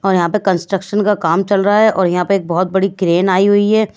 और यहां पे कंस्ट्रक्शन का काम चल रहा है और यहां पे एक बहोत बड़ी क्रेन आई हुई है।